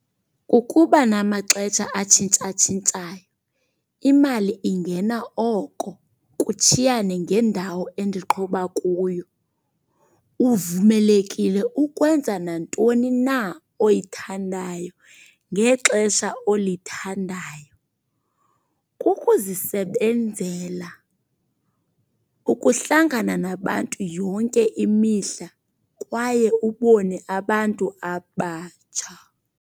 Kukuba namaxesha atshintshatshintshayo, imali ingena oko kutshiyane ngendawo endiqhuba kuyo. Uvumelekile ukwenza nantoni na oyithandayo ngexesha olithandayo. Kukuzisebenzela, ukuhlangana nabantu yonke imihla kwaye ubone abantu abatsha.